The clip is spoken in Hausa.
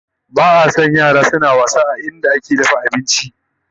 Ba a San yara na wasa a wurin da ake dafa abinci